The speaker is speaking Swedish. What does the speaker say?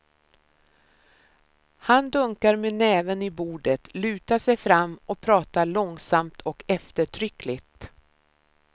Han dunkar med näven i bordet, lutar sig fram och pratar långsamt och eftertryckligt.